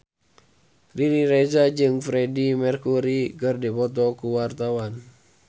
Riri Reza jeung Freedie Mercury keur dipoto ku wartawan